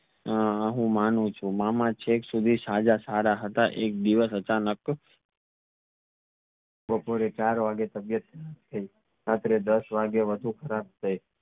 હા હું માનું છુ મામા છેક સુધી સાજા સારા હતા એક દિવસ અચાનક બપોરે ચાર વાગે તબિયત કાઇ રાત્રે દસ વાગીએ ખરાબ થઈ